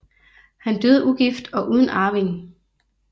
Han døde ugift og uden arving